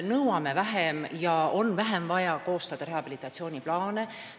Nõuame vähem ja ei ole vaja koostada nii palju rehabilitatsiooniplaane.